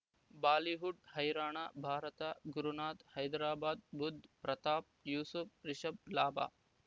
Bollywood ಹೈರಾಣ ಭಾರತ ಗುರುನಾಥ್ ಹೈದರಾಬಾದ್ ಬುಧ್ ಪ್ರತಾಪ್ ಯೂಸುಫ್ ರಿಷಬ್ ಲಾಭ